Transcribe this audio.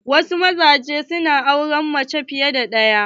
Wasu mazajen na auren mace fiye da ɗaya.